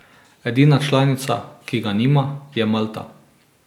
Edina članica, ki ga nima, je Malta.